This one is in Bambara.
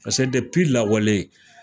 Paseke lawale